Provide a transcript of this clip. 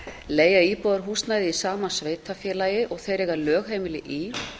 leigja íbúðarhúsnæði í sama sveitarfélagi og þeir eiga lögheimili í